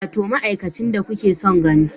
Wato ma'aikacin da kuke son gani